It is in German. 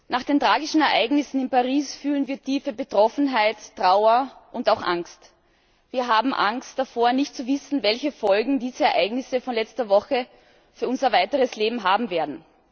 Nach den tragischen Ereignissen in Paris fühlen wir tiefe Betroffenheit, Trauer und auch Angst. Wir haben Angst davor, nicht zu wissen, welche Folgen diese Ereignisse von letzter Woche für unser weiteres Leben haben werden.